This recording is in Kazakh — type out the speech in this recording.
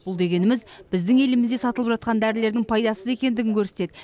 бұл дегеніміз біздің елімізде сатылып жатқан дәрілердің пайдасыз екендігін көрсетеді